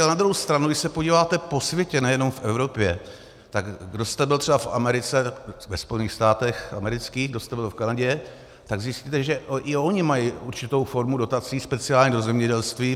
Ale na druhou stranu když se podíváte po světě, nejenom v Evropě, tak kdo jste byl třeba v Americe, ve Spojených státech amerických, kdo jste byl v Kanadě, tak zjistíte, že i oni mají určitou formu dotací, speciálně do zemědělství.